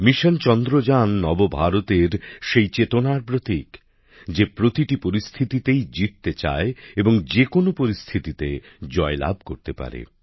mission Chandrayaan নবভারতের সেই চেতনার প্রতীক যে প্রতিটি পরিস্থিতিতেই জিততে চায় এবং যেকোনো পরিস্থিতিতে জয়লাভ করতে পারে